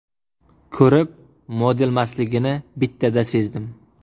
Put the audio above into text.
Ko‘rib, modelmasligini bittada sezdim.